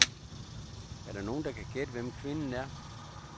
Er der nogen, der kan gætte, hvem kvinden er?